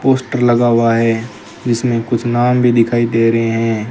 Poster लगा हुआ है इसमें कुछ नाम भी दिखाई दे रहे हैं।